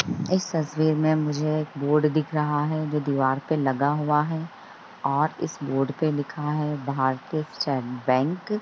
इस तस्वीर में मुझे एक बोर्ड दिख रहा है जो दिवार पर लगा हुआ है और इस बोर्ड पर लिखा है भारतीय स्टेट बैंक